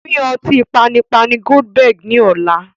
Pín ọtí panipani "Goldberg" ni ọ̀la.